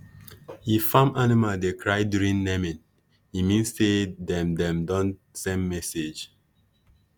if farm animal dey cry during naming e mean say dem dem don send message